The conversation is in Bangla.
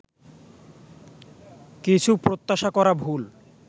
কিছু প্রত্যাশা করা ভুল